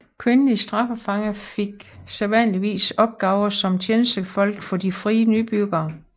Kvindelige straffefanger fik sædvanligvis opgaver som tjenestefolk for de frie nybyggere